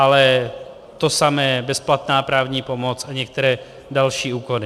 Ale to samé bezplatná právní pomoc a některé další úkony.